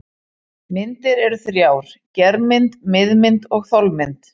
Myndir eru þrjár: germynd, miðmynd og þolmynd.